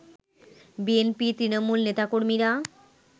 BNP তৃণমূল নেতাকর্মীরা